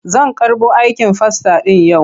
Zan karɓo aikin fasta ɗin yau.